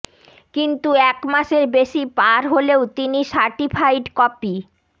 কিন্তু এক মাসের বেশি পার হলেও তিনি সার্টিফাইড কপি